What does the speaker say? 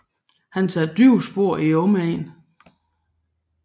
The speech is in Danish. Han satte dybe spor i omegnen